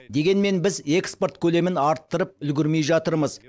дегенмен біз экспорт көлемін арттырып үлгермей жатырмыз